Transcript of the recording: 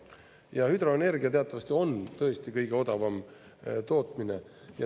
Ja hüdroenergia teatavasti on tõesti kõige odavam tootmine.